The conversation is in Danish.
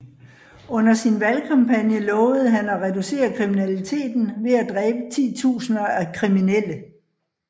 Under sin valgkampagne lovede han at reducere kriminaliteten ved at dræbe titusinder af kriminelle